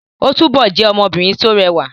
Óò túbọ̀ jẹ́ ọmọbìnrin tó rẹwà